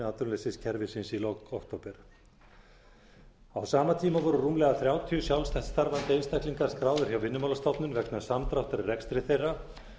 hlutastörf innan atvinnuleysistryggingakerfisins í lok október á sama tíma voru rúmlega þrjátíu sjálfstætt starfandi einstaklingar skráðir hjá vinnumálastofnun vegna samdráttar í rekstri þeirra